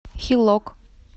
хилок